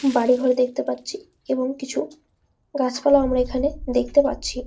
বাড়িঘর দেখতে পাচ্ছি এবং কিছু গাছপালাও আমরা এখানে দেখতে পাচ্ছি।